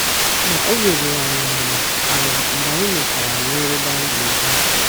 Ma obi ruru anyị ala ala mgbe anyị mechara ruo ebe anyị ga - ehi.